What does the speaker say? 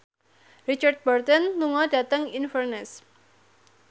Richard Burton lunga dhateng Inverness